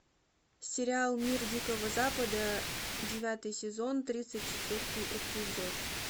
сериал мир дикого запада девятый сезон тридцать четвертый эпизод